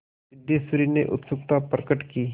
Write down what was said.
सिद्धेश्वरी ने उत्सुकता प्रकट की